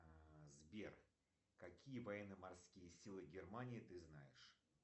сбер какие военно морские силы германии ты знаешь